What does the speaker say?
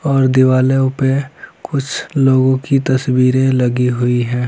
और दीवारों पे कुछ लोगो की तस्वीरे लगी हुई हैं ।